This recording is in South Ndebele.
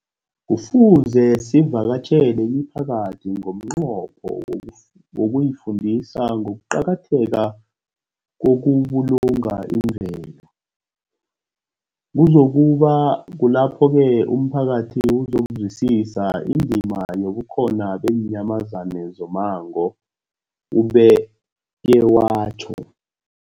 Kufuze sivakatjhele imiphakathi ngomnqopho wokuyifundisa ngokuqakatheka kokubulunga imvelo. Kuzoku ba kulapho-ke umphakathi uzokuzwisisa indima yobukhona beenyamazana zommango, ubeke watjho.